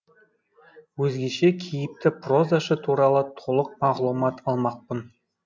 өзгеше кейіпті прозашы туралы толық мағлұмат алмақпын